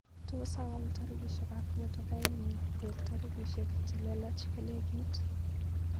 Tos awal tairishekap motokainyu koek tairishek chelelach kolekit.